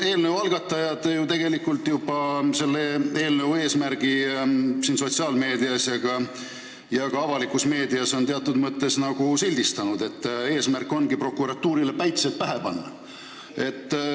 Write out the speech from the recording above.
Eelnõu algatajad on selle eelnõu eesmärgi sotsiaalmeedias ja ka avalikus meedias juba teatud mõttes sildistanud – et tahetakse prokuratuurile päitsed pähe panna.